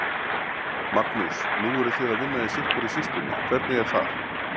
Magnús: Nú eruð þið að vinna í sitthvorri sýslunni, hvernig er það?